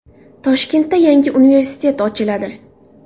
Toshkentda yangi universitet ochiladi .